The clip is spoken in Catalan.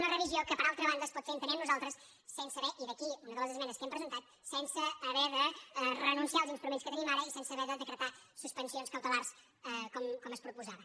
una revi·sió que per altra banda es pot fer entenem nosaltres i d’aquí una de les esmenes que hem presentat sen·se haver de renunciar als instruments que tenim ara i sense haver de decretar suspensions cautelars com es proposava